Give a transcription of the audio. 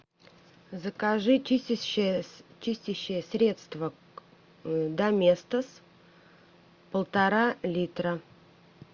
закажи чистящее средство доместос полтора литра